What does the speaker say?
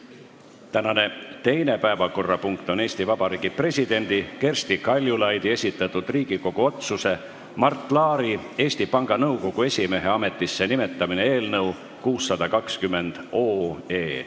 Tänane teine päevakorrapunkt on Eesti Vabariigi presidendi Kersti Kaljulaidi esitatud Riigikogu otsuse "Mart Laari Eesti Panga Nõukogu esimehe ametisse nimetamine" eelnõu 620 esimene lugemine.